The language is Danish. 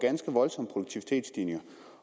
ganske voldsomme produktivitetsstigninger